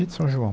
de São João.